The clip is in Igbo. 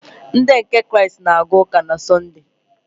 Ndị nke Kraịst na-aga ụka na Sọnde.